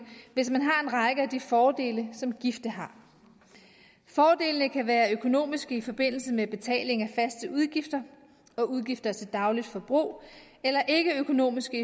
hvis man har en række af de fordele som gifte har fordelene kan være økonomiske i forbindelse med betaling af faste udgifter og udgifter til dagligt forbrug eller ikkeøkonomiske